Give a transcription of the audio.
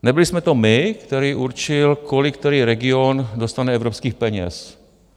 Nebyli jsme to my, který určil, kolik který region dostane evropských peněz.